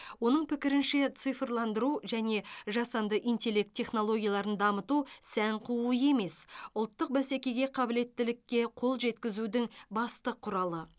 оның пікірінше цифрландыру және жасанды интеллект технологияларын дамыту сән қуу емес ұлттық бәсекеге қабілеттілікке қол жеткізудің басты құралы